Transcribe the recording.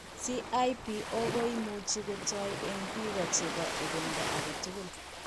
CIPO ko imuch ko toi eng' biko chebo ebendo age tugul.